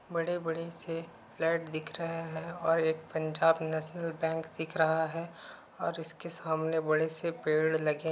बड़े-बड़े से फ्लैट दिख रहे हैं और एक पंजाब नेशनल बैंक दिख रहा है। और इसके सामने बड़े से पेड़ लगे --